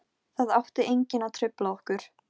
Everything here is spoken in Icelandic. Alexíus, kanntu að spila lagið „Fjöllin hafa vakað“?